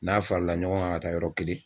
N'a fara la ɲɔgɔn kan ka taa yɔrɔ kelen.